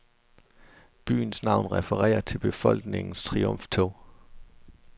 Byens navn refererer til befolkningens triumftog.